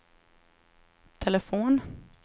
telefon